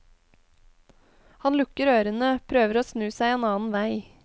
Han lukker ørene, prøver å snu seg en annen vei.